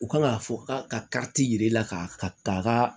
U kan k'a fɔ k'a ka yir'i la ka ka